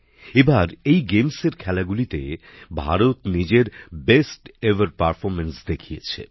এ বার এই প্রতিযোগিতার খেলাগুলিতে ভারত নিজের সবথেকে ভালো ক্রীড়া নৈপুণ্য দেখিয়েছে